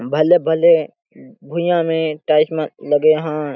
भले -भले भूइयाँ में टाइल्स मन लगे है।